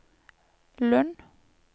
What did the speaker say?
Lund